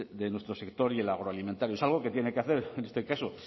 de nuestro sector agroalimentario es algo que tiene que hacer en este caso